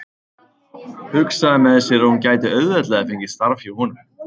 Hugsaði með sér að hún gæti auðveldlega fengið starf hjá honum.